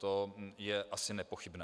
To je asi nepochybné.